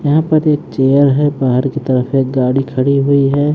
यहां पर एक चेयर है बाहर की तरफ एक गाड़ी खड़ी हुई है।